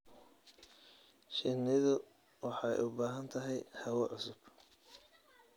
Shinnidu waxay u baahan tahay hawo cusub.